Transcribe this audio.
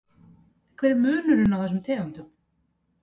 Hver er munurinn á þessum tegundum?